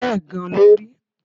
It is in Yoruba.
Bẹ́ẹ̀ gan-an ló rí